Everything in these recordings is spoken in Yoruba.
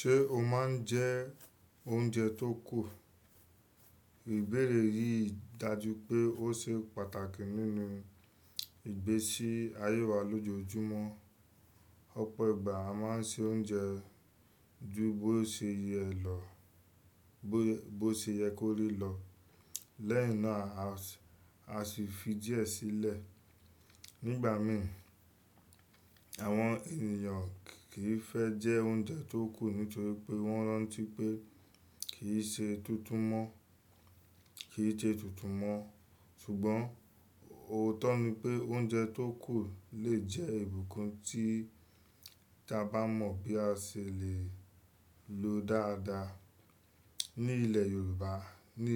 Ṣé o máa ń jẹ oúnjẹ tó kù? Ìbéèrè yìí dájú pé ó ṣe pàtàkì nínú ìgbésí ayé wa lójoojúmọ́. Ọ̀pọ̀ ìgbà a máa ń ṣe oúnjẹ ju bó ṣe yẹ lọ bó ṣe yẹ kó rí lọ, lẹ́yìn náà a sì fi díẹ̀ sílẹ̀. Nígbà mí, àwọn ènìyàn kì í fẹ́ jẹ oúnjẹ tó kù nítorí pé wọ́n rántí pé kì í ṣe kì í ṣe tútù mọ́. Ṣùgbọ́n òótọ́ ni pé oúnjẹ tó kù lè jẹ́ ìbùkún tí ta bá mọ̀ bí a ṣe lè lo dáadáa. Ní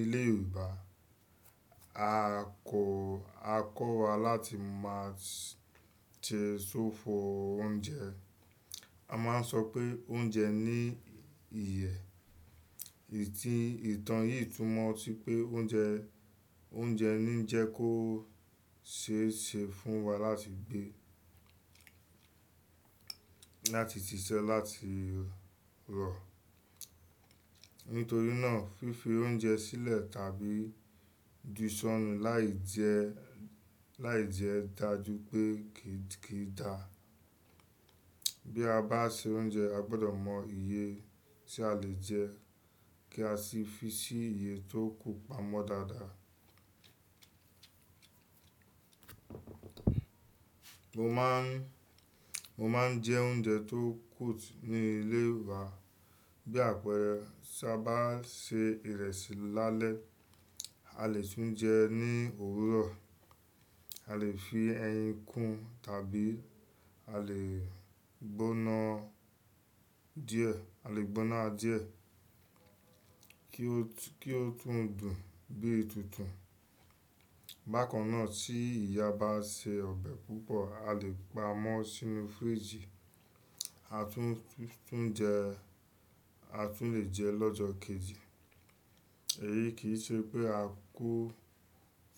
ilẹ̀ Yorùbá, a kọ́ wa láti máa jẹ sófo oúnjẹ. A máa ń sọ pé "Oúnjẹ ní iyẹ́." Ìtàn yìí túmọ̀ sí pé oúnjẹ ní jẹ́ kó ṣe é ṣe fún wa láti gbé, láti ṣiṣẹ́, láti rọ̀. Nítorí náà, fífi oúnjẹ sílẹ̀ tàbí ju sọ́ọ̀nù láì jẹ́ dájú pé kì í dà. Bí a bá ṣe oúnjẹ, a gbọdọ̀ mọ iye tí a lè jẹ́, kí a sì fi sí iye tó kù pamọ́ dáadáa. Mo máa ń jẹ oúnjẹ tó kù ní ilé wa. Bí àpẹẹrẹ, tí a bá sè ìrẹsì lálẹ́, a lè tún jẹ́ ẹ ní òwúrọ̀. A lè fi ẹyin kún tàbí a lè gbóná díẹ̀ kí ó tún dùn bí i tútùn. Bákan náà, tí ìyá bá sè ọbẹ̀ púpọ̀, a lè pa ámọ́ sínú fíríjì, a tún lè jẹ ẹ lọ́jọ́ kejì. Èyí kì í ṣe pé a kú,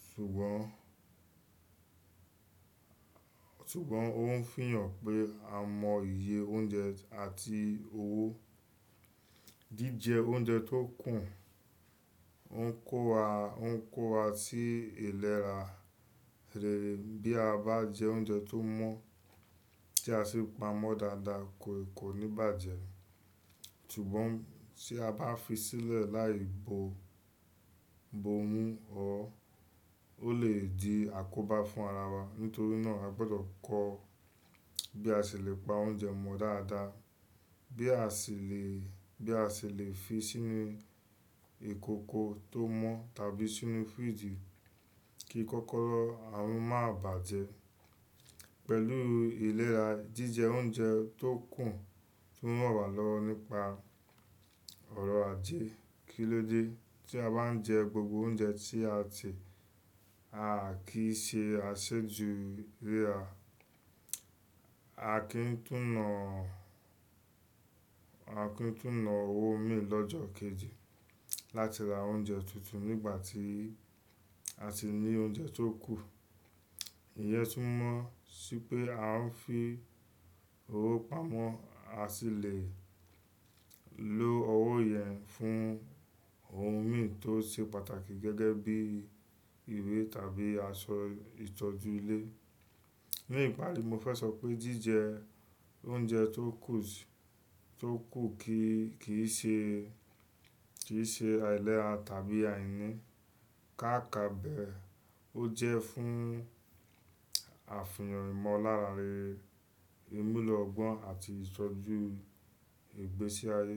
ṣùgbọ́n ṣùgbọ́n ó ń fiyàn pé a mọ iye oúnjẹ àti owó. Jíjẹ oúnjẹ tó kù ń kó wa sí ìlera rere. Bí a bá jẹ oúnjẹ tó mọ́ tí a sì pamọ́ dáadáa kò ní bàjẹ́. Ṣùgbọ́n tí a bá fi sílẹ̀ láì bo mú ọ́, ó lè di àkóbá fún ara wa. Nítorí náà a gbọdọ̀ kọ́ bí a ṣe lè pa oúnjẹ mọ́ dáadáa, bí a ṣe lè fi sínú ìkòkò tó mọ́ tàbí sínú fíríjì kí kókóró à ń má bàjẹ́. Pẹ̀lú ìlera, jíjẹ oúnjẹ tó kù tún ràn wá lọ́wọ́ nípa ọrọ̀ ajé. Kílóde tí a bá ń jẹ gbogbo oúnjẹ tí a ti, a kì í ṣe aṣejù ìlera. A kì í tún nà owó mì lọ́jọ́ kejì láti ra oúnjẹ tútù nígbà tí a sì ní oúnjẹ tó kù. Ìyẹ́ tún mọ́ sí pé a ń fi owó pamọ́, a sì lè lo owó yẹn fún ohun mì tó ṣe pàtàkì gẹ́gẹ́ bí ìwé tàbí aṣọ ìtọ́jú ilé. Ní ìparí, mo fẹ́ sọ pé jíjẹ oúnjẹ tó kù kì í ṣe àìlera tàbí àìní. Káàkàbe, ó jẹ́ fún àfihàn ìmọ̀lára rere, ìmúlọ́ gbọ́n àti ìtọ́jú ìgbésí ayé.